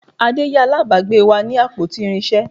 Ade yá alábàgbe wa ní àpótí irinsé